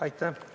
Aitäh!